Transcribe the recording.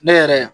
Ne yɛrɛ